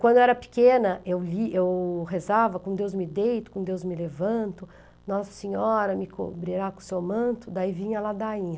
Quando eu era pequena, eu li, eu rezava, com Deus me deito, com Deus me levanto, Nossa Senhora me cobrirá com seu manto, daí vinha a ladainha.